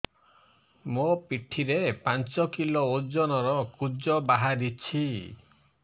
ମୋ ପିଠି ରେ ପାଞ୍ଚ କିଲୋ ଓଜନ ର କୁଜ ବାହାରିଛି